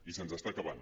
i se’ns està acabant